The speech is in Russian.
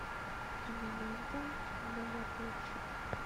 кинолента богатырша